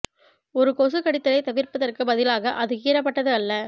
ஒரு கொசு கடித்தலைத் தவிர்ப்பதற்குப் பதிலாக அது கீறப்பட்டது அல்ல